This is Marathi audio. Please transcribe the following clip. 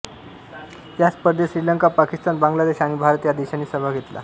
या स्पर्धेत श्रीलंका पाकिस्तान बांगलादेश आणि भारत या देशांनी सहभाग घेतला